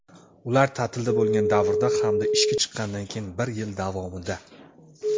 ular taʼtilda bo‘lgan davrda hamda ishga chiqqanidan keyin bir yil davomida;.